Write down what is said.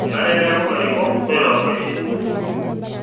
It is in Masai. Mmenare neeku larikok loitorogonyisho